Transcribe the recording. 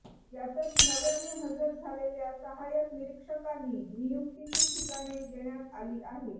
यातच नव्याने हजर झालेल्या सहायक निरीक्षकांनी नियुक्तीची ठिकाणे देण्यात आली आहेत